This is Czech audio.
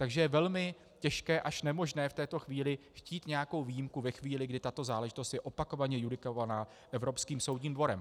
Takže je velmi těžké až nemožné v této chvíli chtít nějakou výjimku, ve chvíli, kdy tato záležitost je opakovaně judikovaná Evropským soudním dvorem.